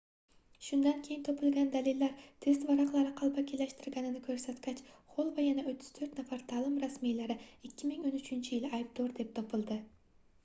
shundan keyin topilgan dalillar test varaqalari qalbakilashtirilganini koʻrsatgach xoll va yana 34 nafar taʼlim rasmiylari 2013-yili aybdor deb topildi